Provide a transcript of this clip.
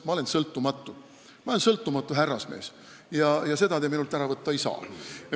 Ma olen sõltumatu, ma olen sõltumatu härrasmees ja seda te minult ära võtta ei saa.